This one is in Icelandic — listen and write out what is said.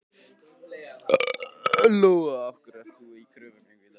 Lóa: Af hverju ert þú í kröfugöngu í dag?